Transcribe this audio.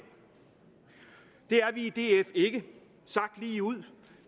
er vi i df ikke sagt lige ud